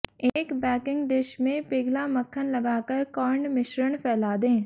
एक baking dish में पिघला मक्खन लगाकर कॉर्न मिश्रण फैला दें